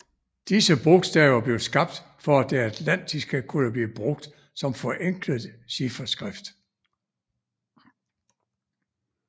Disse bogstaver blev skabt for at det atlantiske kunne blive brugt som forenklet chifferskrift